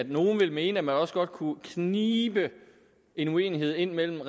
nogle vil mene at man også godt kunne knibe en uenighed ind mellem